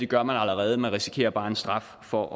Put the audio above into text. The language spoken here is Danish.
gør man allerede man risikerer bare en straf for